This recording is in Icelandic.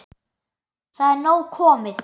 Það er nóg komið.